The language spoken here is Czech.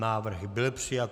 Návrh byl přijat.